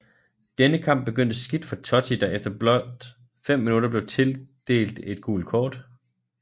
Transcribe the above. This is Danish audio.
Denne kamp begyndte skidt for Totti der efter bolt fem minutter blev tildelt det et gult kort